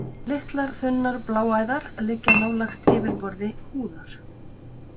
Litlar, þunnar bláæðar liggja nálægt yfirborði húðar.